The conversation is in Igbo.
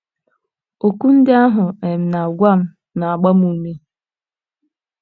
Okwu ndị ahụ ọ um na - agwa m na - agba m ume.